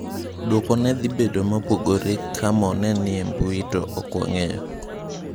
Duoko ne dhi bedo mopogore ka Mo ne ni e mbui to ok wang'eyo.